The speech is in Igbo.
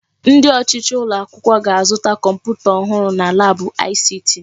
Ndi ọchịchị ụlọ akwụkwọ ga-azụta kọmputa ọhụrụ na laabụ ICT.